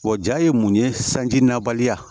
Wa jaa ye mun ye sanji nabaliya